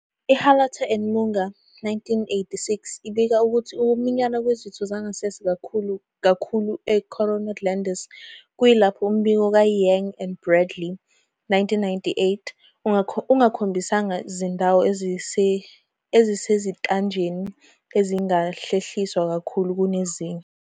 IHalata and Munger, 1986, ibika ukuthi ukuminyana kwezitho zangasese kukhulu kakhulu e-corona glandis, kuyilapho umbiko kaYang and Bradley, 1998, "ungakhombisanga zindawo ezisezintanjeni ezingahlehliswa kakhulu kunezinye."